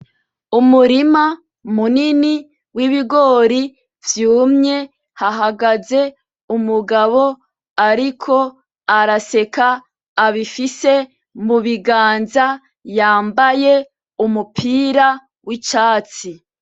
Umurima munini w’ibigori vyumye hahagaze umugabo ariko araseka abifise mu biganza, yambaye umupira w’icatsi.